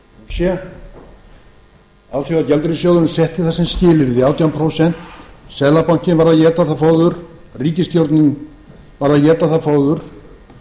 prósent alþjóðagjaldeyrissjóðurinn setti það sem skilyrði átján prósent seðlabankinn varð að éta það fóður ríkisstjórnin varð að éta það fóður og